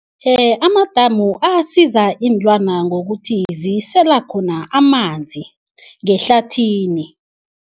Amadamu asiza iinlwana ngokuthi zisela khona amanzi ngehlathini.